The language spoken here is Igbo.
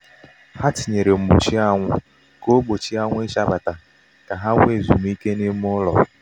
ha tinyere mgbochi anwụ ka ọ gbochie anyanwụ ịchabata ka ha nwee ezumike n'ime ụlọ.